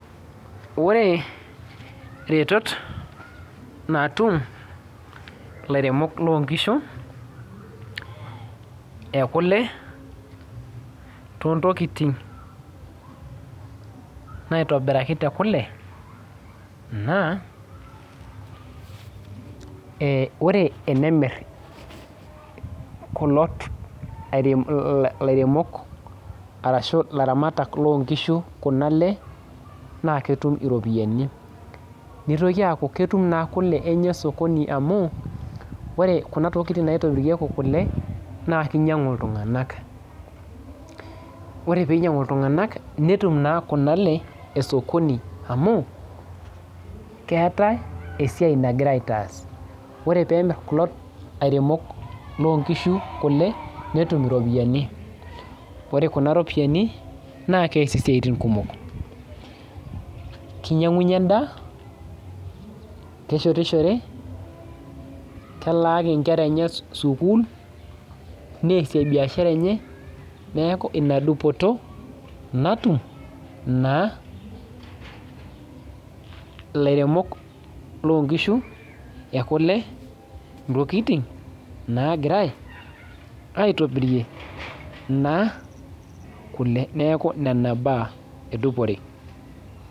Ore iretot natuum ilairemok lonkishu ekule, tontokiting naitobiraki tekule, naa ore enemir kulo lairemok arashu laramatak lonkishu kuna ale, na ketum iropiyiani. Nitoki aku ketum naa kule enye osokoni amu, ore kuna tokiting naitobirieki kule, naa kinyang'u iltung'anak. Ore pinyang'u iltung'anak, netum naa kuna ale esokoni amu, keetae esiai nagirai aitaas. Ore pemir kuo airemok lonkishu kule, netum iropiyiani. Ore kuna ropiyiani, naa kees isiaitin kumok. Kinya'unye endaa, keshetishore, kelaaki nkera eneye sukuul, neesie biashara eneye, neeku ina dupoto natum naa ilairemok lonkishu ekule, ntokiting nagirai aitobirie naa kule. Neeku nena baa edupore.